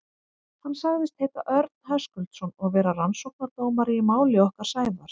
Hann sagðist heita Örn Höskuldsson og vera rannsóknardómari í máli okkar Sævars.